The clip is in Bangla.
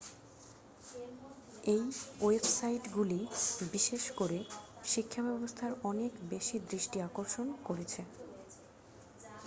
এই ওয়েবসাইটগুলি বিশেষ করে শিক্ষাব্যবস্থায় অনেক বেশি দৃষ্টি আকর্ষণ করেছে